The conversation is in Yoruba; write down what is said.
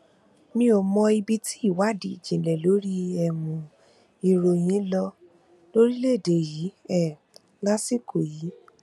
mi ò mọ ibi tí ìwádìí ìjìnlẹ lórí um ìròyìn lọ lórílẹèdè yìí um lásìkò yìí